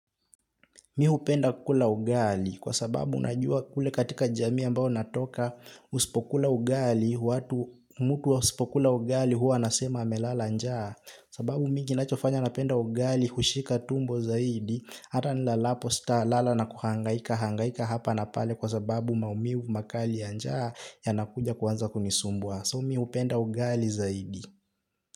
Mih hupenda kula ugali kwa sababu najua kule katika jamii ambao natoka usipo kula ugali, watu mtu asipo kula ugali huwa nasema amelala njaa. Sababu mingi nachofanya napenda ugali, hushika tumbo zaidi, ata nilalapo sita lala na kuhangaika, hangaika hapa na pale kwa sababu maumivu makali ya njaa yanakuja kuanza kunisumbwa. So mih hupenda ugali zaidi.